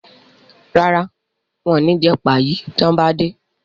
ràrá wón ní jé Páyi tí wón bá dé.